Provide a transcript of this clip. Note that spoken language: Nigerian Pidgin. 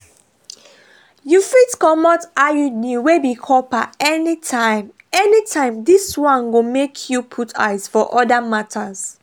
you fit comot iud wey be copper anytime anytime this one go make you put eyes for other matters.